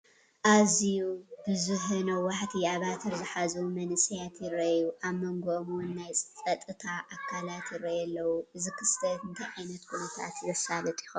ኣዝዩ ብዙሐ ነዋሕቲ ኣባትር ዝሓዙ መናእሰያት ይራኣዩ፣ ኣብ መንጎኦም ውን ናይ ፀጥታ ኣካላት ይራኣዩ ኣለው፡፡ እዚ ክስተት እንታይ ዓይነት ኩነታት ዘሳልጥ ይኸውን?